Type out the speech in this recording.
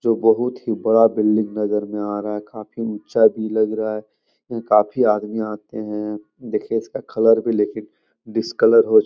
जो बहुत ही बड़ा बिल्डिंग नजर में आ रहा है काफी ऊँचा भी लग रहा है यहाँ काफी आदमी आते हैं देखिए इसका कलर भी लेकिन डिसकलर हो चू --